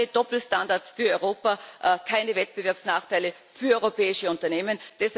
Keine Doppelstandards für Europa, keine Wettbewerbsnachteile für europäische Unternehmen!